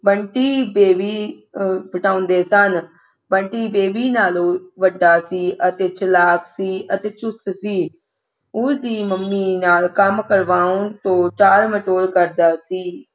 ਬੰਟੀ ਦੇਵੀ ਅਹ ਬਟਾਉਂਦੇ ਸਨ ਬੰਟੀ ਦੇਵੀ ਨਾਲੋਂ ਵੱਡਾ ਸੀ ਤੇ ਚਲਾਕ ਅਤੇ ਚੁਸਤ ਸੀ ਉਸ ਦੀ ਮੰਮੀ ਦੇ ਨਾਲ ਕੰਮ ਕਰਵਾਉਣ ਤੋਂ ਟਾਲ-ਮਟੋਲ ਕਰਦਾ ਸੀ